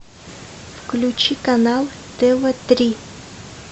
включи канал тв три